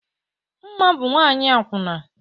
Mma bụ nwanyị akwụna